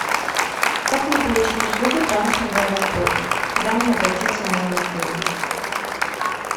как мне получить услугу трансфер в аэропорт куда мне обратиться в моем отеле